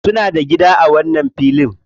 Suna da gida a wannan filin.